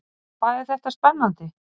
Hvað þetta er spennandi!